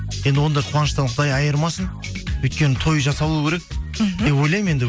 енді ондай қуаныштан құдай айырмасын өйткені той жасалу керек мхм деп ойлаймын енді